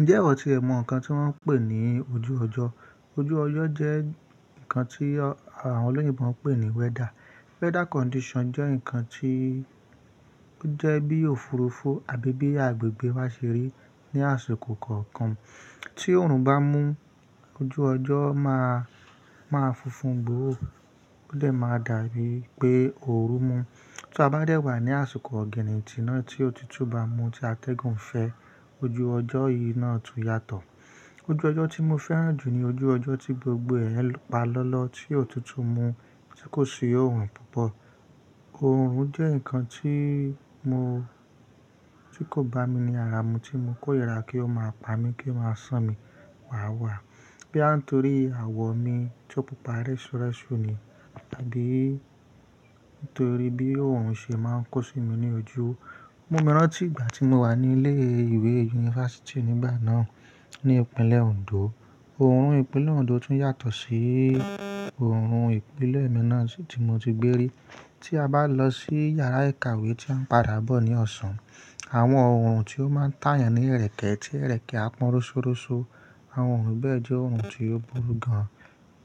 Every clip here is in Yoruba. Ǹjẹ́ ìwọ tí ẹ mọ ǹkan tí wọ́n ń pè ní ojúrojọ́? Ojú ọjọ́ jẹ́ ǹkan tí àwọn olóyinbọ̀ máa ń pè ní weather. Weather condition jẹ́ ǹkan tí ó jẹ́ bí òfurufú àbí bí agbègbè bá ṣe rí ní àsìkò kọ̀ọ̀kan. Tí oòrùn bá mú, ojú ọjọ́ máa, máa funfun gbooro. Ó dẹ máa dàbí pé ooru mú. Tí a bá dẹ́ wà ní àsìkò ọ̀ginnintin ná tí òtútù bá mú tí atẹ́gùn fẹ́, ojú ọjọ́ yìí náà tún yàtọ̀. Ojú ọjọ́ tí mo fẹ́ràn jù ní ojú ọjọ́ tí gbogbo ẹ̀ pa lọ́lọ́, tí òtútù mú tí kò si òòrùn púpọ̀. Oòrùn jẹ́ ǹkan tí mo, tí kò bá mi ní ara mi tí mo kóyìrá kí ó máa pa mí kí máa san mí wàwá. Bí à ń torí àwọ̀ mi tó pupa rẹ́súrẹ́sú ni àbí nítorí bí òòrùn ṣe máa ń kó sí mi ní ojú. Mu mi rántí ìgbà tí mo wà ní ilé ìwé yunifásítì nígbà náà ní ìpínlẹ̀ Oǹdó. Oòrùn ìpínlẹ̀ Oǹdó tún yàtọ̀ sí oòrùn ìpínlẹ̀ mi náà tí mo ti gbé rí. Tí a bá lọ sí yàrá ìkàwé tí a ń padà bọ̀ ní ọ̀sán, àwọn oòrùn tí ó máa ń tàyàn ní ẹrẹ̀kẹ́ tí ẹrẹ̀kẹ́ á pọ́n rósórósó. Àwọn oòrùn bẹ́ẹ̀ jẹ́ oòrùn tí ó burú gan-an.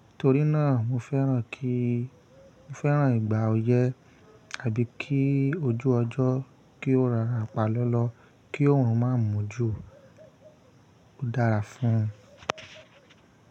Nítorí náà, mo fẹ́ràn kí, mo fẹ́ràn ìgbà oyẹ́ àbí kí ojú ọjọ́ kí ó rọra pa lọ́lọ́ kí oòrùn má mú jú. Ó dára fún.